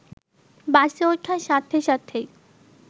বাসে ওঠার সাথে সাথেই